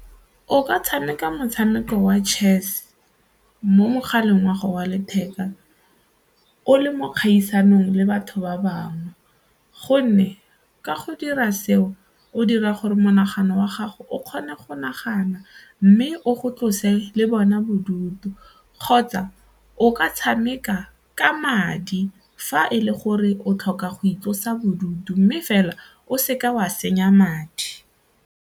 O ka tshameka motshameko wa chess mo mogaleng wa gago wa letheka o le mo dikgaisanong le batho ba bangwe gonne ka go dira seo o dira gore monagano wa gago o kgone go nagana mme o go tlose le bona bodutu kgotsa o ka tshameka ka madi fa e le gore o tlhoka go itlosa bodutu mme fela o seka wa senya madi.